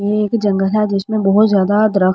ये एक जंगल है जिसमें बहुत ज्यादा अदरक --